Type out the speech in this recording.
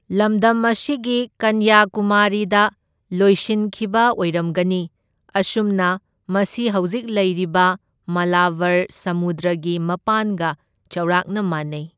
ꯂꯃꯗꯝ ꯑꯁꯤ ꯀꯟꯌꯀꯨꯃꯥꯔꯤꯗ ꯂꯣꯏꯁꯤꯟꯈꯤꯕ ꯑꯣꯏꯔꯝꯒꯅꯤ, ꯑꯁꯨꯝꯅ ꯃꯁꯤ ꯍꯧꯖꯤꯛ ꯂꯩꯔꯤꯕ ꯃꯂꯕꯔ ꯁꯃꯨꯗ꯭ꯔꯒꯤ ꯃꯄꯥꯟꯒ ꯆꯥꯎꯔꯥꯛꯅ ꯃꯥꯟꯅꯩ꯫